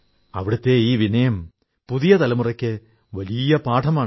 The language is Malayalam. അവിടുത്തെ ഈ വിനയം പുതിയ തലമുറയ്ക്ക് വലിയ പാഠമാണ്